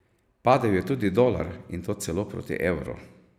Padel je tudi dolar in to celo proti evru.